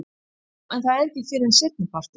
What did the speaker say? Jú en það er ekki fyrr en seinnipartinn.